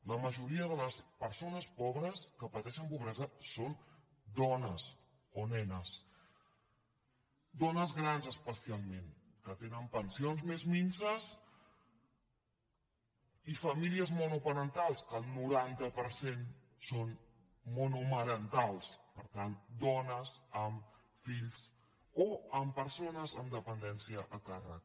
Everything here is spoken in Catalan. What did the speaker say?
la majoria de les persones pobres que pateixen pobresa són dones o nenes dones grans especialment que tenen pensions més minses i famílies monoparentals que el noranta per cent són monomarentals per tant dones amb fills o amb persones amb dependència a càrrec